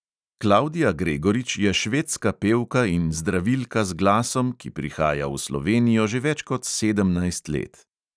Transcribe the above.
Klavdija gregorič je švedska pevka in zdravilka z glasom, ki prihaja v slovenijo že več kot sedemnajst let.